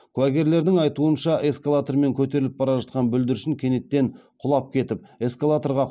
куәгерлердің айтуынша эскалатормен көтеріліп бара жатқан бүлдіршін кенеттен құлап кетіп эксалаторға